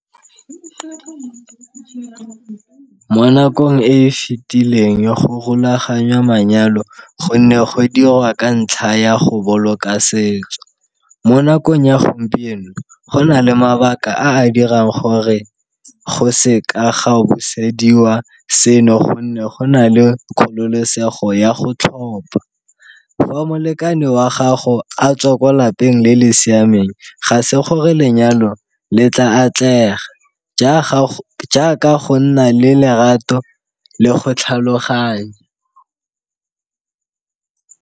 Mo nakong e e fetileng go rulaganya manyalo gonne go dirwa ka ntlha ya go boloka setso. Mo nakong ya gompieno go na le mabaka a a dirang gore go se ka ga busediwa seno gonne go na le kgololosego ya go tlhopha. Fa molekane wa gago a tswa kwa lapeng le le siameng ga se gore lenyalo le tla atlega jaaka go nna le lerato le go tlhaloganya.